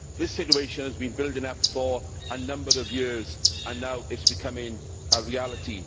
This situation has been building up for a number of years, and now it is becoming a reality.